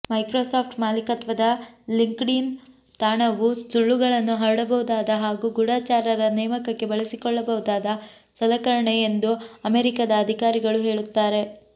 Microsoft ಮಾಲೀಕತ್ವದ LinkedIn ತಾಣವು ಸುಳ್ಳುಗಳನ್ನು ಹರಡಬಹುದಾದ ಹಾಗೂ ಗೂಢಚಾರರ ನೇಮಕಕ್ಕೆ ಬಳಸಿಕೊಳ್ಳಬಹುದಾದ ಸಲಕರಣೆ ಎಂದು ಅಮೆರಿಕದ ಅಧಿಕಾರಿಗಳು ಹೇಳುತ್ತಾರೆ